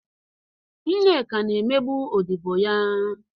Nneka na-emegbu odibo ya.